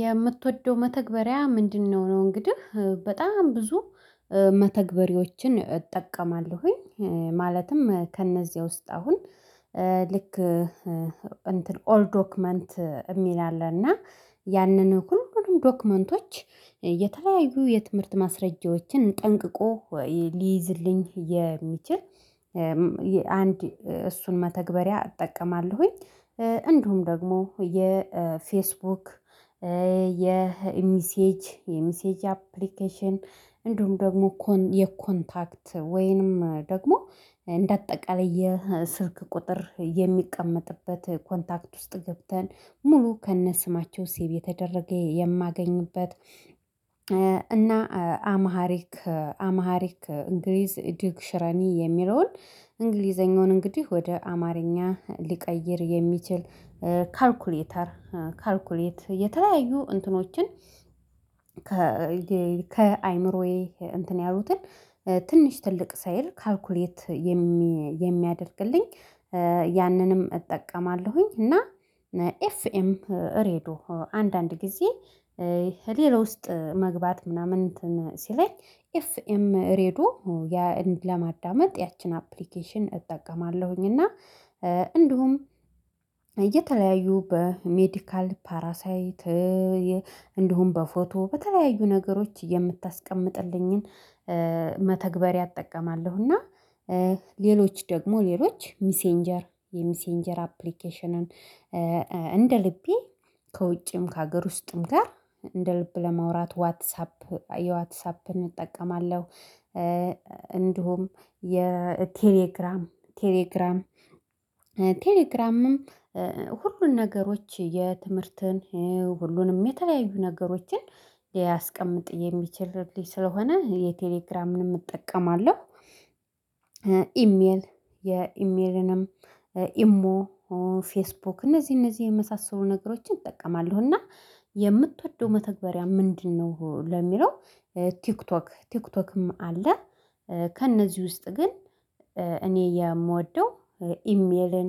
የምትወደው መተግበሪያ ምንድነው ነው? እንግዲህ በጣም ብዙ መተግበሪዎችን እጠቀማለሁኝ ማለትም ከእነዚህ ውስጥ አሁን ልክ እንትን ኦል ዶክመንት የሚል አለ እና ያንን ሁሉንም ዶክመንቶች የተለያዩ የትምህርት ማስረጃዎችን ጠንቅቆ ሊይዝልኝ የሚችል አንድ እሱን መተግበሪያ እጠቀማለሁኝ። እንዲሁም ደግሞ የፌስቡክ የሚሴጅ የሚሴጅ አፕሊኬሽን እንዲሁም ደግሞ እኮ የኮንታክት ወይንም ደግሞ እንደ አጠቃላይ የስልክ ቁጥር የሚቀመጥበት ኮንታክት ውስጥ ገብተን ሙሉ ከነ ስማቸው ሲብ የተደረገ የማገኝበት። እና አማሃሪክ አማሃሪክ እንግሊዝ ዲክሽነረኒ የሚለውን እንግሊዘኛውን እንግዲህ ወደ አማርኛ ሊቀይር የሚችል ካልኩሌተር ካልኩሌት የተለያዩ እንትኖችን ከአእምሮዬ እንትን ያሉትን ትንሽ ትልቅ ሳይል ካልኩሌት የሚያደርግልኝ ያንንም እጠቀማለሁኝ። እና ኤፍኤም ሬድዮ አንዳንድ ጊዜ ሌላ ውስጥ መግባት ምናምን እንትን ሲለኝ ኤፍኤም ሬዶ ለማዳመጥ ያችን አፕሊኬሽን እጠቀማለሁኝ። እና እንዲሁም የተለያዩ በሜዲካል ፓራሳይት እንዲሁም በፎቶ በተለያዩ ነገሮች የምታስቀምጥልኝን መተግበር ያጠቀማለሁና እና ሌሎች ደግሞ ሌሎች ሚሴንጀር የሚሴንጀር አፕሊኬሽንን እንደልቤ ልቤ ከውጭም ከሀገር ውስጥም ጋር እንደ ልብ ለማውራት ዋትሳፕ የዋትሳፕ እንጠቀማለን እንዲሁም የቴሌግራም ቴሌግራም ቴሌግራምም ሁሉን ነገሮች የትምህርትን ሁሉንም የተለያዩ ነገሮችን ያስቀምጥ የሚችልልኝ ስለሆነ የቴሌግራምንም እጠቀማለሁ። ኢሜል የኢሜልንም ኢሞ ፌስቡክ እነዚህ እነዚህ የመሳሰሉ ነገሮችን እጠቀማለሁ። እና የምትወደው መተግበሪያ ምንድነው? ለሚለው ቲክቶክ ቲክቶክም አለ ከእነዚህ ውስጥ ግን እኔ የምወደው ኢሜልን